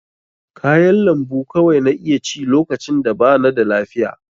Kayan lambu kawai na iya ci lokacin da bana da lafiya.